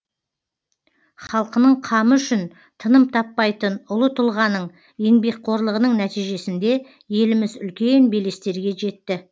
халқының қамы үшін тыным таппайтын ұлы тұлғаның еңбекқорлығының нәтижесінде еліміз үлкен белестерге жетті